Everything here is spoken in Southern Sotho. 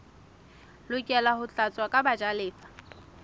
lokela ho tlatswa ke bajalefa